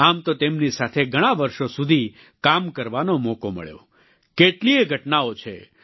આમ તો તેમની સાથે ઘણાં વર્ષો સુધી કામ કરવાનો મોકો મળ્યો કેટલીયે ઘટનાઓ છે